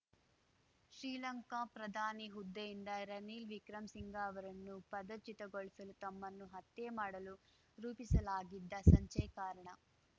ಶ್ರೀಲಂಕಾ ಪ್ರಧಾನಿ ಹುದ್ದೆಯಿಂದ ರನಿಲ್‌ ವಿಕ್ರಮಸಿಂಘ ಅವರನ್ನು ಪದಚ್ಯುತಗೊಳಿಸಲು ತಮ್ಮನ್ನು ಹತ್ಯೆ ಮಾಡಲು ರೂಪಿಸಲಾಗಿದ್ದ ಸಂಚೇ ಕಾರಣ